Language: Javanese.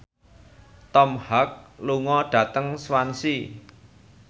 Tom Hanks lunga dhateng Swansea